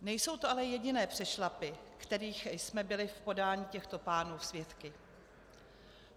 Nejsou to ale jediné přešlapy, kterých jsme byli v podání těchto pánů svědky.